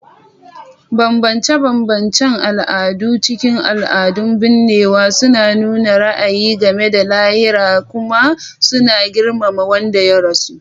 Bambance-bambancen al'adu a cikin al'adun binnewa suna nuna ra'ayi game da lahira kuma suna girmama wanda ya rasu.